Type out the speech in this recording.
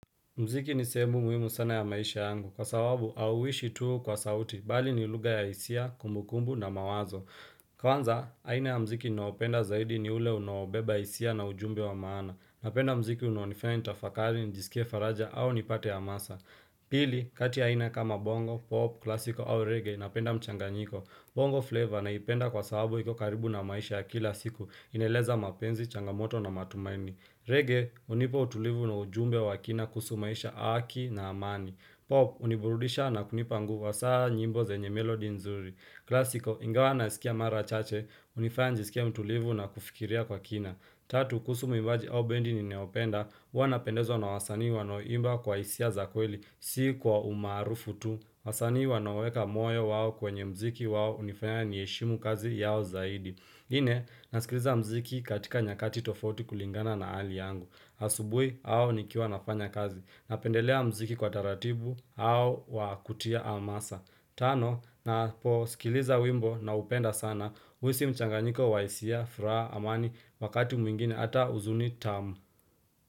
Mziki ni sehemu muhimu sana ya maisha yangu, kwa sababu hauishi tu kwa sauti, bali ni lugha ya hisia, kumbukumbu na mawazo. Kwanza, aina ya mziki ninaopenda zaidi ni ule unaobeba hisia na ujumbe wa maana. Napenda mziki unonifanya nitafakari, njisikie faraja au nipate hamasa. Pili, kati aina kama bongo, pop, klasiko au reggae, napenda mchanganyiko. Bongo flavor naipenda kwa sababu iko karibu na maisha ya kila siku, inaeleza mapenzi, changamoto na matumaini. Reggae, hunipa utulivu na ujumbe wa kina kuhusu maisha, haki na amani. Pop, huniburudisha na kunipa nguvu hasa nyimbo zenye melodi nzuri. Klasiko, ingawa naisikia mara chache, hunifanya nijisikia mtulivu na kufikiria kwa kina. Tatu, kuhusu muimbaji au bendi ninayopenda, huwa napendezwa na wasani wanaoimba kwa hisia za kweli, si kwa umaarufu tu wasani wanaoweka moyo wao kwenye mziki wao hunifanya niheshimu kazi yao zaidi Nne, nasikiliza mziki katika nyakati tofauti kulingana na hali yangu. Asubui au nikiwa nafanya kazi. Napendelea mziki kwa taratibu au wa kutia hamasa. Tano, naposikiliza wimbo naupenda sana. Huhisi mchanganyiko wa hisia, furaha, amani, wakati mwingine ata huzuni tamu.